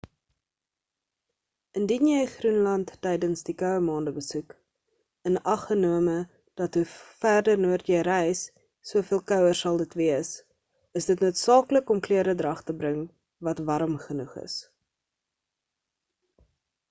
indien jy groenland tydens die koue maande besoek inaggenome dat hoe verder noord jy reis soveel kouer sal dit wees is dit noodsaaklik om kleredrag te bring wat warm genoeg is